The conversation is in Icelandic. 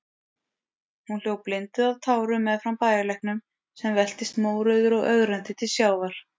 Hún hljóp blinduð af tárum meðfram bæjarlæknum, sem veltist mórauður og ögrandi til sjávar.